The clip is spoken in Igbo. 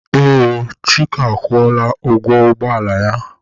Ee, Chika akwụọla ụgwọ ụgbọ ala ya.